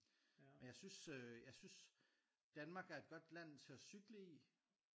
Og jeg synes øh jeg synes Danmark er et godt land til at cykle i